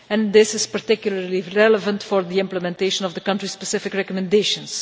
This is particularly relevant with regard to the implementation of the country-specific recommendations.